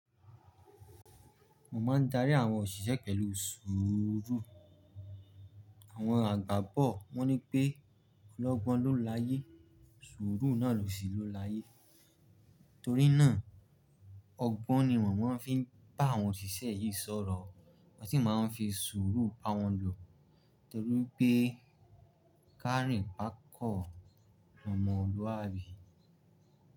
Mo máa ń darí àwọn òṣìṣẹ́ pẹ̀lú sùúrù. Àwọn àgbà bọ̀ wọ́n ní pé olọ́gbọ́n ló láyé, sùúrù náà lòṣì ló láyé. Torí náà ọgbọ́n ni wọ́n máa ń fi bá àwọn òṣìṣẹ́ yìí sọ̀rọ̀. Wọ́n sì máa ń fi sùúrù bá wọn lò torí pé káàri kákọ̀ ni ọmọ Olúwàbí.